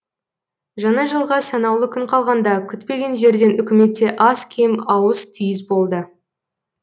жаңа жылға санаулы күн қалғанда күтпеген жерден үкіметте аз кем ауыс түйіс болды